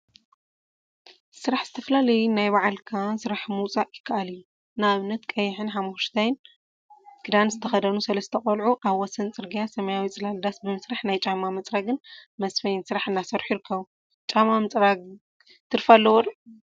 ስራሕ ዝተፈላለዩ ናይ ባዕልካ ስራሕ ምውፃእ ይከአል እዩ፡፡ ንአብነት ቀይሕን ሓመኩሽታይን ክዳን ዝተከደኑ ሰለስተ ቆልዑ አብ ወሰን ፅርግያ ሰማያዊ ፅላል ዳስ ብምስራሕ ናይ ጫማ መፅረጊን መስፈይን ስራሕ እናሰርሑ ይርከቡ፡፡ ጫማ ምፅራግን ትርፊ አለዎ ዶ ?